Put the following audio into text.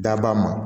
Daba ma